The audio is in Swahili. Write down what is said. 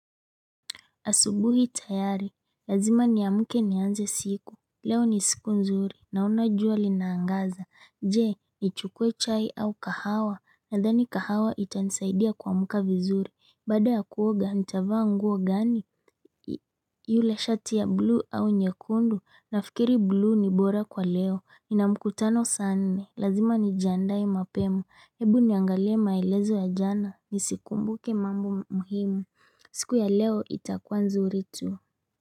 Asubuhi tayari, lazima ni amke nianze siku, leo ni siku nzuri, naona jua linaangaza, je, ni chukue chai au kahawa, nadhani kahawa ita nisaidia kwa mka vizuri, baada ya kuoga, nitavaa nguo gani? Yule shati ya blue au nyekundu, nafikiri blue ni bora kwa leo, ni na mkutano sa nne, lazima nijiandae mapema, hebu niangalie maelezo ya jana, nisikumbuke mambo muhimu. Siku ya leo itakuwa nzuri tu.